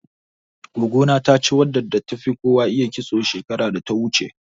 Goggo na ta ci wadda tafi kowa iya kitso, shekarar da ta wuce.